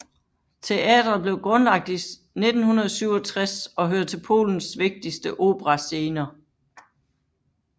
Teateret blev grundlagt i 1967 og hører til Polens vigtigste operascener